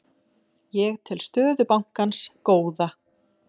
Ég tel stöðu bankans góða.